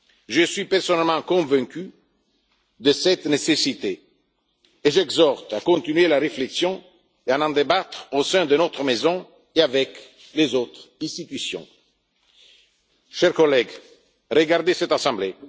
Je suis personnellement convaincu de cette nécessité et j'exhorte à continuer la réflexion et à en débattre au sein de notre Maison, ainsi qu'avec les autres institutions. Chers collèges, regardez cette Assemblée.